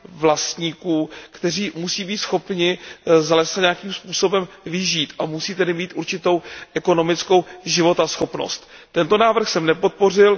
vlastníků, kteří musí být schopni z lesa nějakým způsobem vyžít a musí tedy mít určitou ekonomickou životaschopnost. Tento prvek jsem nepodpořil.